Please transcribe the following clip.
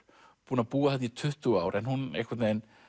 búin að búa þarna í tuttugu ár en einhvern veginn